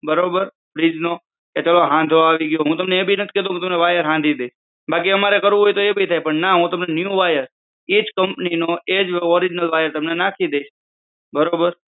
કે બરાબર કે ચાલો fridge નો હાંધો આવી જાવાનો હોય કે હું તમને વાયર હાંધી દઈશ બાકી અમારે કરવું હોય તો એ પણ થાય પણ નઈ હું તમને એના બદલા માં new wire એ જ કંપની નો એ જ original wire હું તમને નાખી આપીશ